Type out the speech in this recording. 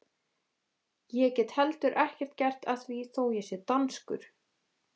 Ég get heldur ekkert gert að því þó ég sé danskur!